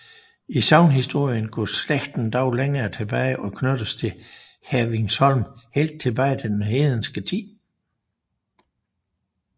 I sagnhistorien går slægten dog længere tilbage og knyttes til Hevringholm helt tilbage til den hedenske tid